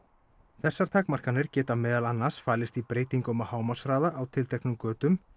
þessar takmarkanir geta meðal annars falist í breytingum á hámarkshraða á tilteknum götum